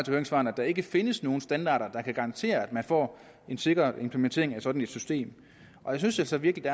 høringssvarene at der ikke findes nogen standarder der kan garantere at man får en sikker implementering af et sådant system jeg synes altså virkelig at